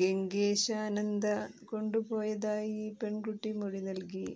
ഗംഗേശാനന്ദ കൊണ്ടുപോയതായി പെണ്കുട്ടി മൊഴി നല്കി